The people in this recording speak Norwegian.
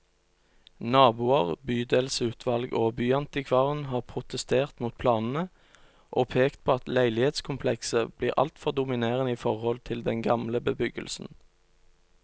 Naboer, bydelsutvalg og byantikvaren har protestert mot planene, og pekt på at leilighetskomplekset blir altfor dominerende i forhold til den gamle bebyggelsen.